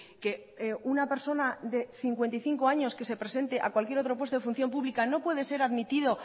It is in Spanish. que una persona de cincuenta y cinco años que se presente a cualquier otro puesto de función pública no puede ser admitida